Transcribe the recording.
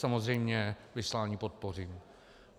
Samozřejmě vyslání podpořím.